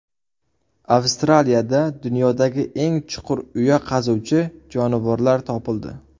Avstraliyada dunyodagi eng chuqur uya qazuvchi jonivorlar topildi.